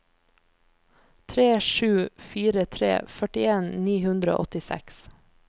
tre sju fire tre førtien ni hundre og åttiseks